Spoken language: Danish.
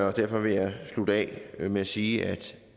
og derfor vil jeg slutte af med at sige